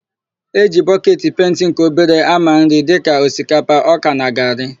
E ji bọketi penti nke obere ámà nri dịka osikapa, ọka na garị.